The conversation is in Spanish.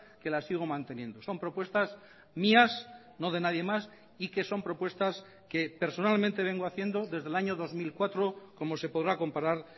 que las sigo manteniendo son propuestas mías no de nadie más y que son propuestas que personalmente vengo haciendo desde el año dos mil cuatro como se podrá comparar